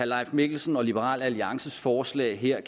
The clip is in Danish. leif mikkelsen og liberal alliances forslag her